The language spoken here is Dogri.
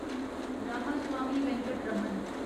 रामास्वामी वेंकटरमन